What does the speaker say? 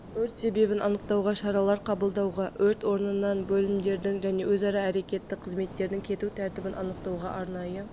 өрт себебін анықтауға шаралар қабылдауға өрт орынынан бөлімдердің және өзара әрекетті қызметтердің кету тәртібін анықтауға арнайы